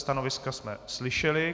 Stanoviska jsme slyšeli.